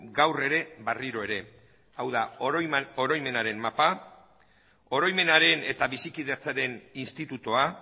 gaur ere berriro ere hau da oroimenaren mapa oroimenaren eta bizikidetzaren institutoa